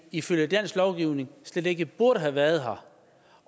ifølge dansk lovgivning slet ikke burde have været her